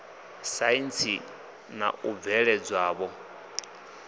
saintsi na u bveledza ṱho